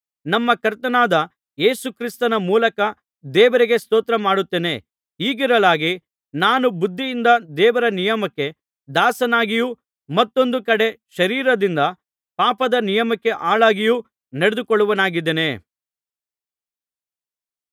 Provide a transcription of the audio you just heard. ನಮ್ಮ ಕರ್ತನಾದ ಯೇಸು ಕ್ರಿಸ್ತನ ಮೂಲಕ ದೇವರಿಗೆ ಸ್ತೋತ್ರ ಮಾಡುತ್ತೇನೆ ಹೀಗಿರಲಾಗಿ ನಾನು ಬುದ್ಧಿಯಿಂದ ದೇವರ ನಿಯಮಕ್ಕೆ ದಾಸನಾಗಿಯೂ ಮತ್ತೊಂದು ಕಡೆ ಶರೀರದಿಂದ ಪಾಪದ ನಿಯಮಕ್ಕೆ ಆಳಾಗಿಯೂ ನಡೆದುಕೊಳ್ಳುವವನಾಗಿದ್ದೇನೆ